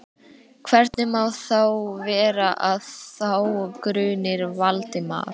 Hvernig má þá vera, að þá gruni Valdimar?